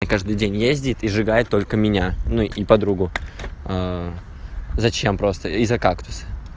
каждый день ездит и сжигает только меня ну и подругу зачем просто из-за кактуса